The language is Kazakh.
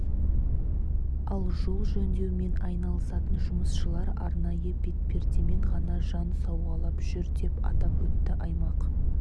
ал жол жөндеумен айналысатын жұмысшылар арнайы бетпердемен ғана жан сауғалап жүр деп атап өтті аймақ